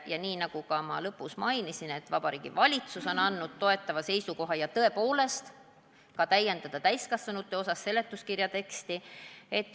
Ja nii nagu ma oma ettekande lõpus mainisin, on ka Vabariigi Valitsus andnud toetava seisukoha – ja tõepoolest sellegi kohta, et täiendada ka täiskasvanute osas seletuskirja teksti.